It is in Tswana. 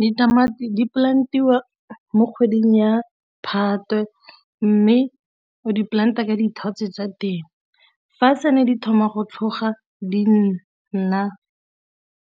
Ditamati di-plant-iwa mo kgweding ya Phatwe mme o di-plant-e ka dithotse tsa teng, fa se ne di thoma go tlhoga di nna